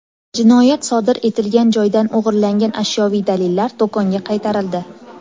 Jinoyat sodir etilgan joydan o‘g‘irlangan ashyoviy dalillar do‘konga qaytarildi.